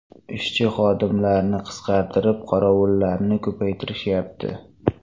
Ishchi-xodimlarni qisqartirib, qorovullarni ko‘paytirishyapti.